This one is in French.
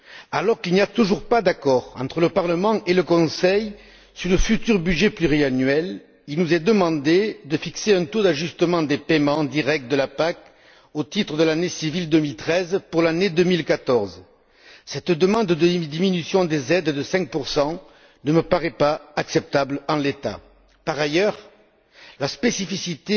Alors qu'il n'y a toujours pas d'accord entre le Parlement et le Conseil sur le futur budget pluriannuel, il nous est demandé de fixer un taux d'ajustement des paiements directs de la PAC au titre de l'année civile 2013 pour l'année 2014. Cette demande de diminution des aides de 5 ne me paraît pas acceptable en l'état. Par ailleurs, la spécificité